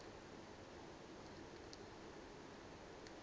aze kutsho la